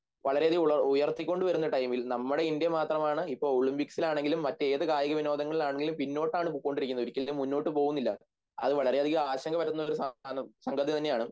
വളരെയധികം ഉയർത്തിക്കൊണ്ടുവരുന്ന ടൈമിൽ നമ്മുടെ ഇന്ത്യ മാത്രമാണ് ഇപ്പം ഒളിമ്പിക്സിലാണെങ്കിലും മറ്റ് ഏതു കായികവിനോദങ്ങളിലാണെങ്കിലും പിന്നോട്ടാണ് പൊക്കോണ്ടിരിക്കുന്നത് ഒരിക്കലും മുന്നോട്ടുപോവുന്നില്ല അത് വളരെയധികം ആശങ്ക പരത്തുന്ന ഒരു സംഗതിതന്നെയാണ്